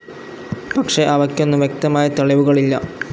പക്ഷെ അവയ്ക്കൊന്നും വ്യക്തമായ തെളിവുകളില്ല.